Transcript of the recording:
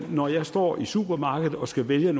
når jeg står i et supermarked og skal vælge